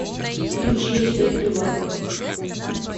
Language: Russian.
включи ночной прибой